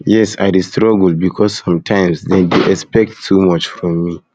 yes i dey struggle because sometimes dem dey expect too too much from me